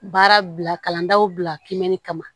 Baara bila kalan daw bila kiimɛni kama